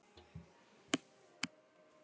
Teygja sig, beygja, bogra.